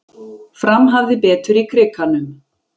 Fram hafði betur í Krikanum